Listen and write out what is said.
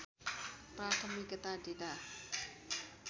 प्राथमिकता दिँदा